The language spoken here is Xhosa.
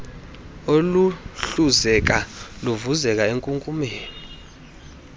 oluhluzeka luvuze enkunkumeni